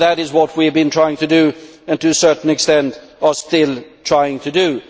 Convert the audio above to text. That is what we have been trying to do, and to a certain extent are still trying to do.